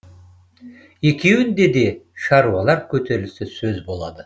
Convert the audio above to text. екеуінде де шаруалар көтерілісі сөз болады